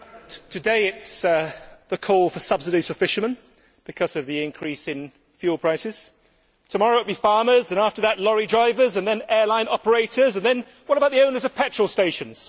Mr President, today, the call is for subsidies for fishermen because of the increase in fuel prices, tomorrow, it will be farmers and, after that, lorry drivers and then airline operators, and then what about the owners of petrol stations?